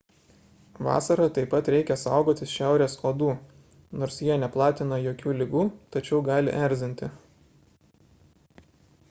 vasarą taip pat reikia saugotis šiaurės uodų nors jie neplatina jokių ligų tačiau gali erzinti